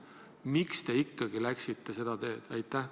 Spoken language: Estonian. Miks te läksite seda teed?